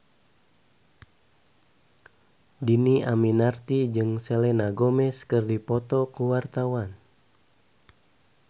Dhini Aminarti jeung Selena Gomez keur dipoto ku wartawan